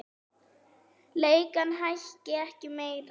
Leigan hækki ekki meira.